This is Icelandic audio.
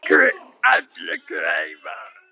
Allir græða.